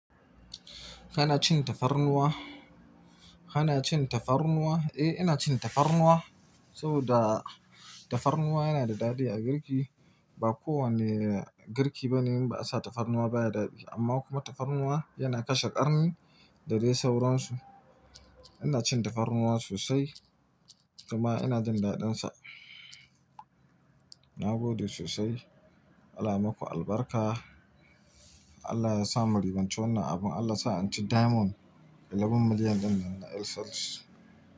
Kana cin tafarnuwa? Kana cin tafarnuwa? Eh, ina cin tafarnuwa saboda tafarnuwa yana da daɗi a girki. Ba kowane girki bane in ba a sa tafarnuwa baya daɗi. Amma kuma tafarnuwa yana kashe ƙarni da dai sauransu. Ina cin tafarnuwa sosai kuma ina jin daɗinsa. Na gode sosai. Allah yamaku albarka. Allah ya sa mu ribanci wannan abin. Allah sa in ci diamond 11 million ɗin nan na S L T.